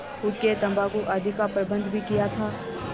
हुक्केतम्बाकू आदि का प्रबन्ध भी किया था